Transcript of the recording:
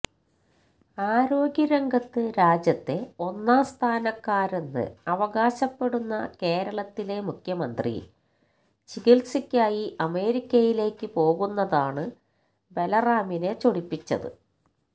ആരോഗ്യരംഗത്ത് രാജ്യത്തെ ഒന്നാം സ്ഥാനക്കാരെന്ന് അവകാശപ്പെടുന്ന കേരളത്തിലെ മുഖ്യമന്ത്രി ചികിത്സയ്ക്കായി അമേരിക്കയിലേക്ക് പോകുന്നതാണ് ബല്റാമിനെ ചൊടിപ്പിച്ചത്